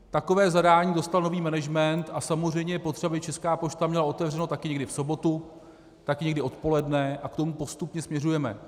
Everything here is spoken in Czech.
Takové zadání dostal nový management a samozřejmě je potřeba, aby Česká pošta měla otevřeno také někdy v sobotu, také někdy odpoledne, a k tomu postupně směřujeme.